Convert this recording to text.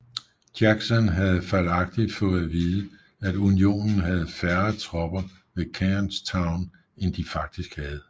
Jackson havde fejlagtigt fået at vide at Unionen havde færre tropper ved Kernstown end de faktisk havde